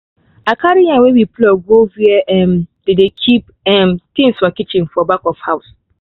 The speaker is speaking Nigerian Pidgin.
i carry yam wey we pluck go where um dey dey keep um things for kitchen for back of house